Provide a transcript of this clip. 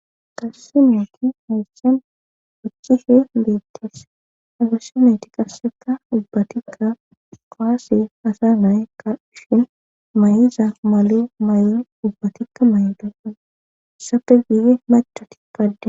Qassimeeti hayssen hocishe beettees agasometi qasseka dubbatikka qoase hasa naye ka shin may7iza male mayo dubbatikka may7o doppan sape giife machati paadde.